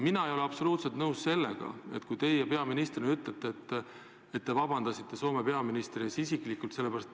Mina ei ole absoluutselt nõus sellega, kui teie peaministrina ütlete, et te ju palusite Soome peaministrilt isiklikult vabandust.